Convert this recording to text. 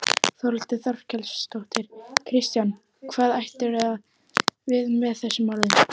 Þórhildur Þorkelsdóttir: Kristján hvað áttirðu við með þessum orðum?